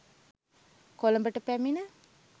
කොළඹට පැමිණ